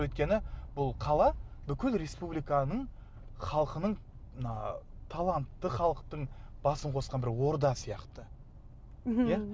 өйткені бұл қала бүкіл республиканың халқының мына талантты халықтың басын қосқан бір орда сияқты иә